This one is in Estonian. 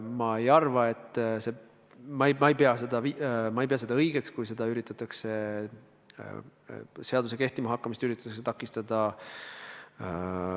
Ma ei ei pea seda õigeks, kui president üritab seaduse kehtima hakkamist takistada.